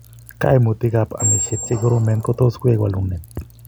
Kaimutikap amishiet che koromen kotos koek walunet.